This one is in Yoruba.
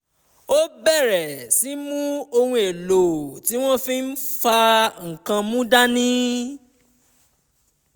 ó bẹ̀rẹ̀ sí í mú ohun èlò tí wọ́n tí wọ́n fi n fa nǹkan mu dání